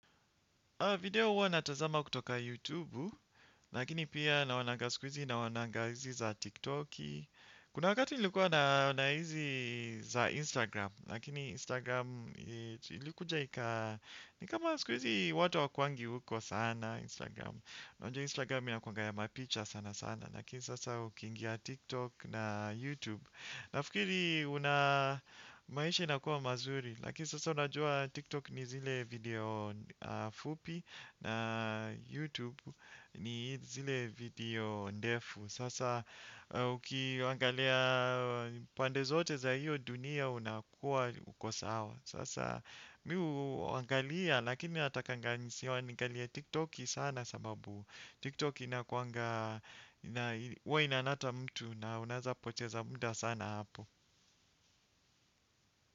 Video huwa natazama kutoka YouTube, lakini pia naonanga siku izi naonanga hizi za TikTok. Kuna wakati nilikuwa naona hizi za Instagram, lakini Instagram ilikuja ikaa. Ni kama siku izi watu hawakuangi huko sana Instagram, unajua Instagram inakuanga ya mapicha sana sana, lakini sasa ukiingia TikTok na YouTube. Na fikiri una maisha inakuwa mazuri, lakini sasa unajua TikTok ni zile video fupi na YouTube ni zile video ndefu. Sasa ukiangalia pande zote za hiyo dunia unakuwa uko sawa. Sasa mi huangalia lakini natakanga ni kiangalia TikTok sana sababu TikTok inakuanga na uwa inanata mtu na unaeza poteza muda sana hapo.